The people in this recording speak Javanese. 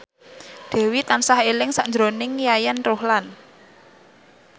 Dewi tansah eling sakjroning Yayan Ruhlan